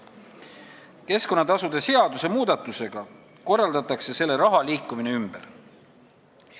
Keskkonnatasude seaduse muudatusega korraldataks selle raha liikumine ümber.